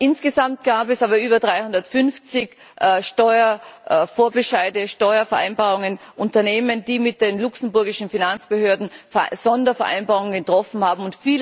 Insgesamt gab es aber über 350 Steuervorbescheide, Steuervereinbarungen, Unternehmen, die mit den luxemburgischen Finanzbehörden Sondervereinbarungen getroffen haben.